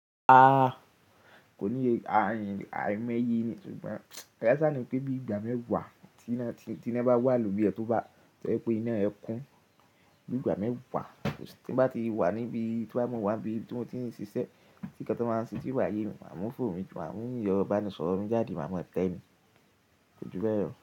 Aáá, kò níye, àìmoye ni. Sugbon kaaṣá ni pé bí ìgbà mẹ́wàá tí na bá wà lórí ẹ tó bá tọ jẹ pé iná rẹ kún, bí ìgbà mẹ́wàá tí n bá ti wà níbi to ba je mo wá n bíi tí mo ti ń ṣiṣẹ́, tí ǹkan tón báa ń ṣẹ́ ti o báyé mi, màá mú fònu mí, màá hin yọ̀ ero bániisọ̀rọ̀ mí jáde, màá ma tẹ́ ni. Ko jú bẹ́ lo.